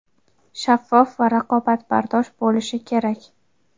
shaffof va raqobatbardosh bo‘lishi kerak.